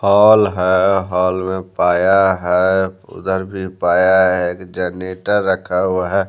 Hall है पाया है उधर भी पाया है जनरेटर रखा हुआ है।